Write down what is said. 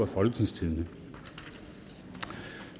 folketingstidendedk